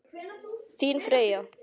Þín Freyja.